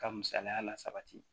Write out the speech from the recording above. Ka misaliya la sabati